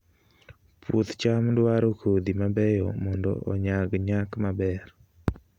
Puoth cham dwaro kodhi mabeyo mondo onyag nyak maber